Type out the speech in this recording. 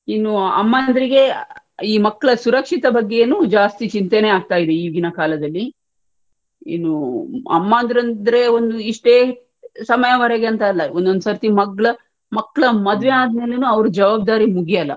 ಇನ್ನು ಅಮ್ಮಂದಿರಿಗೆ ಈ ಮಕ್ಳ ಸುರಕ್ಷತೆ ಬಗ್ಗೆನು ಜಾಸ್ತಿ ಚಿಂತೇನೆ ಆಗ್ತಿದೆ ಈಗಿನ ಕಾಲದಲ್ಲಿ. ಇನ್ನು ಅಮ್ಮಂದಿದ್ರೆ ಇಷ್ಟೇ ಸಮಯವರೆಗೆ ಅಂತೆಲ್ಲಾ ಒಂದೊಂದು ಸರ್ತಿ ಮಗ್ಲ್ ಮಕ್ಳ್ ಮದುವೆ ಆದ್ಮೇಲೆನೂ ಅವರ್ ಜವಾಬ್ದಾರಿ ಮುಗಿಯಲ್ಲ.